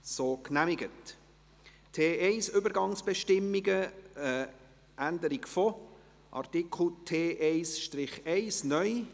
Sonst möchte ich darüber abstimmen lassen und erheben, ob Sie genau dies wollen.